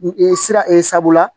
sira ee sabula